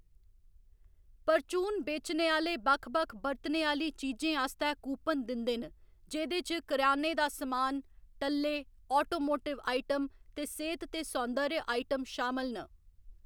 परचून बेचने आह्‌‌ले बक्ख बक्ख बरतने आह्‌ली चीजें आस्तै कूपन दिंदे न, जेह्‌‌‌दे च करेयाने दा समान, टल्ले, आटोमोटिव आइटम ते सेह्‌त ते सौन्दर्य आइटम शामल न।